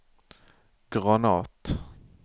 granat